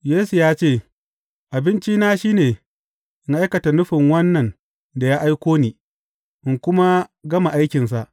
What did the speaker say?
Yesu ya ce, Abincina shi ne, in aikata nufin wannan da ya aiko ni, in kuma gama aikinsa.